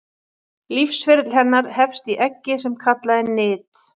Lífsferill hennar hefst í eggi sem kallað er nit.